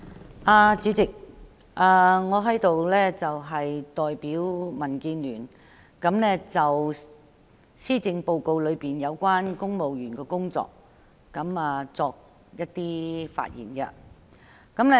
代理主席，我代表民建聯就施政報告中有關公務員的工作發言。